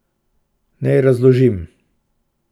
Naj razložim.